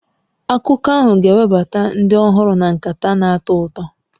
Akụkọ ahụ ga-ewebata ndị ọhụrụ na nkata na-atọ ụtọ.